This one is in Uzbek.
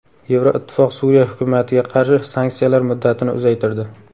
Yevroittifoq Suriya hukumatiga qarshi sanksiyalar muddatini uzaytirdi.